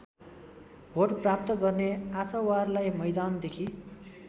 vote प्राप्त गर्ने आशावारलाई मैदानदेखि